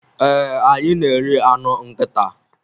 Ee, anyị na-eri anụ nkịta.